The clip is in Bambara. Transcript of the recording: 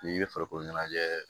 N'i bɛ farikolo ɲɛnajɛ